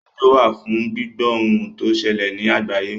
Rédíò wà fún gbíbọ́ ohun tó ń ṣẹlè ní àgbáyé.